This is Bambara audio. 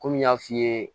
Komi n y'a f'i ye